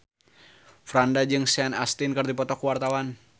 Franda jeung Sean Astin keur dipoto ku wartawan